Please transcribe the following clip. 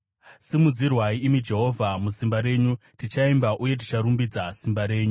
Simudzirwai, imi Jehovha, musimba renyu; tichaimba uye ticharumbidza simba renyu.